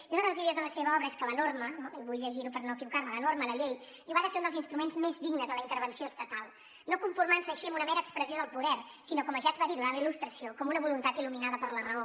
i una de les idees de la seva obra és que la norma vull llegir ho per no equivocar me la norma la llei diu ha de ser un dels instruments més dignes de la intervenció estatal no conformant se així amb una mera expressió del poder sinó com ja es va dir durant la il·lustració com una voluntat il·luminada per la raó